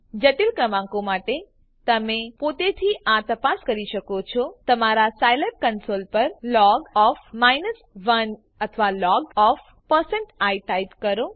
જટિલ ક્રમાંકો માટે તમે પોતેથી આ તપાસ કરી શકો છો તમારા સાયલેબ કંસોલ પર લોગ અથવા logઆઇ ટાઈપ કરો